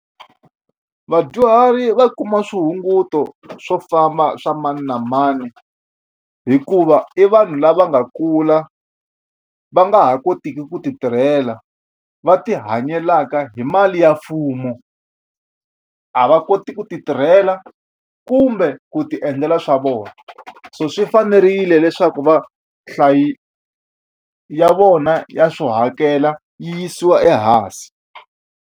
Vadyuhari va kuma swihunguto swo famba swa mani na mani hikuva i vanhu lava nga kula va nga ha kotiki ku ti tirhela va ti hanyela mhaka hi mali ya mfumo a va koti ku ti tirhela kumbe ku ti endlela swa vona so swi fanerile leswaku va ya vona ya swo hakela yi yisiwa ehansi.